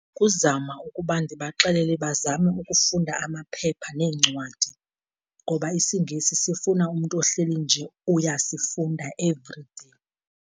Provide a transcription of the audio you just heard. Kuzama ukuba ndibaxelele bazame ukufunda amaphepha neencwadi, ngoba isiNgesi sifuna umntu ohleli nje uyasifunda everyday.